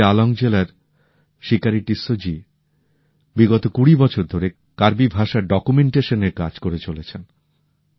কার্বি আঙ্গলং জেলার শিকারি টিসসো জী বিগত কুড়ি বছর ধরে কার্বি ভাষার ডকুমেন্টেশন এর কাজ করে চলেছেন